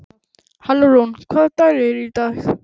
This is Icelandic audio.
Hallrún, hvaða dagur er í dag?